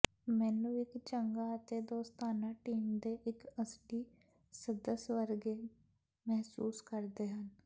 ਮੈਨੂੰ ਇੱਕ ਚੰਗਾ ਅਤੇ ਦੋਸਤਾਨਾ ਟੀਮ ਦੇ ਇੱਕ ਅਸਲੀ ਸਦੱਸ ਵਰਗੇ ਮਹਿਸੂਸ ਕਰਦੇ ਹਨ